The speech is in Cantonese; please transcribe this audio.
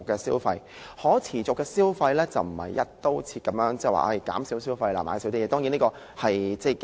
所謂可持續消費，並非"一刀切"地宣傳減少消費，減少買東西。